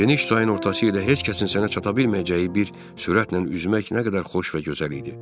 Geniş çayın ortası ilə heç kəsin sənə çata bilməyəcəyi bir sürətlə üzmək nə qədər xoş və gözəl idi.